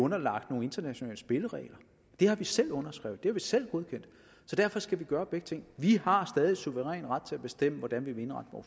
underlagt nogle internationale spilleregler det har vi selv underskrevet det har vi selv godkendt så derfor skal vi gøre begge ting vi har stadig suveræn ret til at bestemme hvordan vi vil indrette